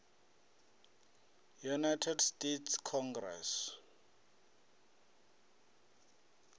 united states congress